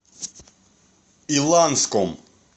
иланском